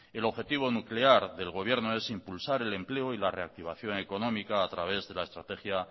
el objetivo nuclear del gobierno es impulsar el empleo y la reactivación económica a través de la estrategia